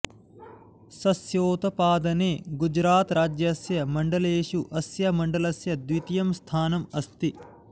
सस्योत्पादने गुजरातराज्यस्य मण्डलेषु अस्य मण्डलस्य द्वितीयं स्थानम् अस्ति